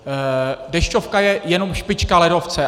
Dešťovka je jenom špička ledovce.